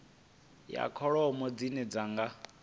ya kholomo dzine dzi nga